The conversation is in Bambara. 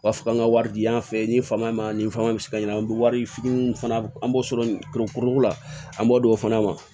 U b'a fɔ k'an ka wari di yan fɛ nin fama ni fama bɛ se ka ɲini an bɛ wari fitiininw fana an b'o sɔrɔ kurun la an b'o don o fana ma